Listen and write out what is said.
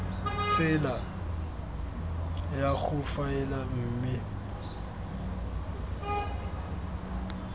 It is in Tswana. tsela ya go faela mme